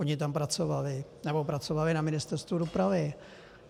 Oni tam pracovali nebo pracovali na Ministerstvu dopravy.